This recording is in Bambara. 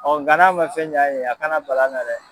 nga n'a man fɛn ɲ'an ye yan a kana bal'an na dɛ.